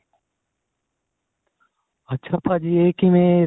ਅੱਛਾ ਭਾਜੀ ਇਹ ਕਿਵੇਂ